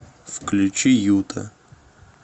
включи юта